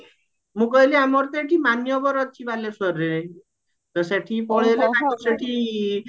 ମୁଁ କହିଲି ଆମର ତ ଏଠି ମାନ୍ୟବର ଅଛି ବାଲେଶ୍ଵରରେ ତ ଶେଠୀ ପଳେଇଲେ ତାଙ୍କ ସେଠି